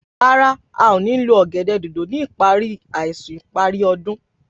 Rárá, a o ní lo ọ̀gẹ̀dẹ̀ dòdò ni ipari àìsùn ìparí ọdún.